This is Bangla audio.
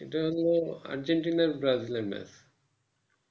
এটা হলো আর্জেন্টিনা ব্রাজিলের এর match